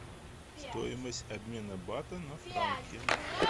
стоимость обмена бата на франки